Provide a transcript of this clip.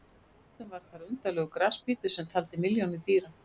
Fyrr á öldum var þar undarlegur grasbítur sem taldi milljónir dýra.